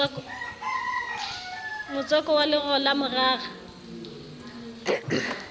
motswako wa lero la morara